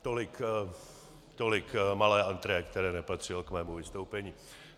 Tolik malé entrée, které nepatřilo k mému vystoupení.